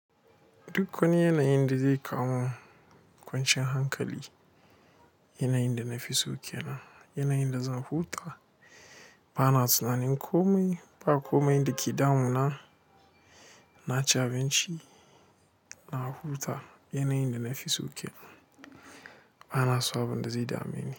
Duk wani yana yin da zai kamu. Kwanciyar hankali yanayin da na fi so kenan. Yanayin da zan huta ba na tunanin kome. Ba komai da ke damuna na ci abinci na huta. Yanayin da na fi so kenan. Ba na so abin da zai dame ni.